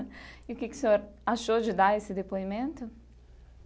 E o que que o senhor achou de dar esse depoimento?